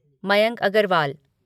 Mayank Agarwal